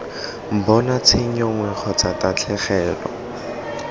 bona tshenyo nngwe kgotsa tatlhegelo